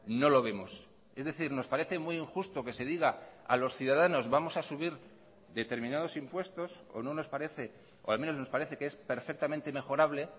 no lo vemos es decir nos parece muy injusto que se diga a los ciudadanos vamos a subir determinados impuestos o no nos parece o al menos nos parece que es perfectamente mejorable